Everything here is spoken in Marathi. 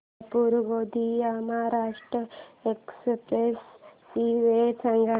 सोलापूर गोंदिया महाराष्ट्र एक्स्प्रेस ची वेळ सांगा